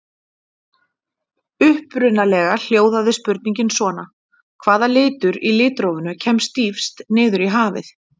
Upprunalega hljóðaði spurningin svona: Hvaða litur í litrófinu kemst dýpst niður í hafið?